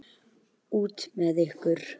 Út með ykkur!